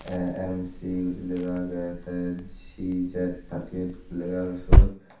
A_M_C guri lega agey tay C_Z thirty eight guri lega agey siyot.